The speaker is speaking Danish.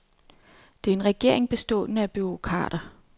Det er en regering bestående af bureaukrater.